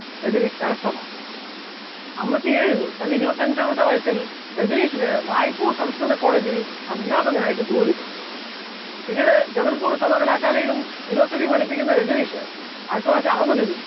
രജനീഷ് കരസ്ഥമാക്കുന്നു, അൻപത്തിയേഴിൽ തന്റെ ഇരുപത്തിയഞ്ചാമത്തെ വയസ്സിൽ രജനീഷിന് റായ്പൂർ സംസ്‌കൃത college ൽ അധ്യാപകനായിട്ട് ജോലി കിട്ടുന്നു, പിന്നീട് ജബൽപൂർ സർവകലാശാലയിലും philosophy പഠിപ്പിക്കുന്ന രജനീഷ് ആയിരത്തിത്തൊള്ളായിരത്തി അറുപതിൽ